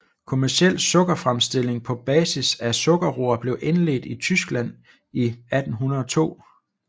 Kommerciel sukkerfremstilling på basis af sukkerroer blev indledt i Tyskland i 1802